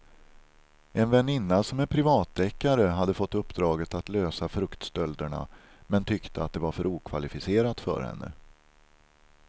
En väninna som är privatdeckare hade fått uppdraget att lösa fruktstölderna men tyckte att det var för okvalificerat för henne.